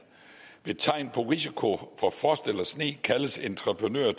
ved tegn på risiko for frost eller sne kaldes entreprenører